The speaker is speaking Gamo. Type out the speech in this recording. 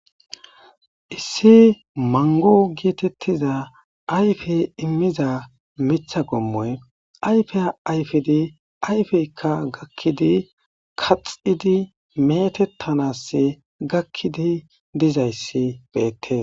Issi manggo geetetiza ayfe immiza miththa qommoy ayfiya ayfiddi ayfezika lo7idi kaththidi meetetanaasi gakidi dizayssi beetes.